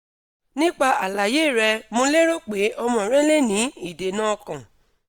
nipa alaye re mo lero pe omo re le ni idena okan